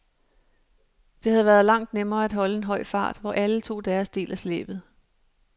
Det havde været langt nemmere at holde en høj fart, hvor alle tog deres del af slæbet.